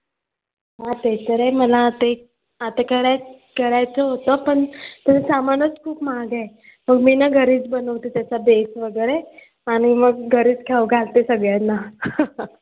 हां ते तर आहे मला ते आता कराय करायचं होतं पण त्याचं सामानचं खूप महाग आहे. मी ना घरीच बनवते त्याचा bake वगैरे आणि मग घरीच खाऊ घालते सगळ्यांना